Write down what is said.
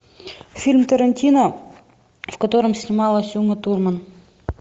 фильм тарантино в котором снималась ума турман